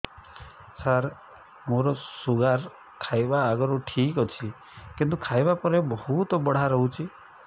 ସାର ମୋର ଶୁଗାର ଖାଇବା ଆଗରୁ ଠିକ ଅଛି କିନ୍ତୁ ଖାଇବା ପରେ ବହୁତ ବଢ଼ା ରହୁଛି